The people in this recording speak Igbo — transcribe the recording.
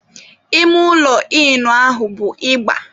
Ime ụlọ Ịnụ ahụ bụ ịgba.